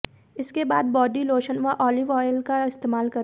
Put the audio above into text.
इसके बाद body lotion व ऑलिव ऑयल का इस्तेमाल करें